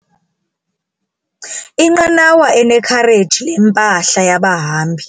Inqanawa inekhareji lempahla yabahambi.